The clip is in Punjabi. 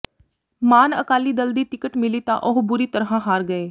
ਮਾਨ ਅਕਾਲੀ ਦਲ ਦੀ ਟਿਕਟ ਮਿਲੀ ਤਾਂ ਉਹ ਬੁਰੀ ਤਰ੍ਹਾਂ ਹਾਰ ਗਏ